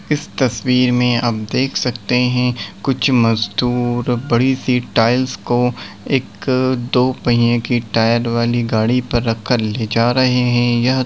इस तस्वीर में आप देख सकते हैं कुछ मजदूर बड़ी सी टाइल्स को एक दो पहिये की टायर वाली गाड़ी पर रख कर ले जा रहे हैं यह--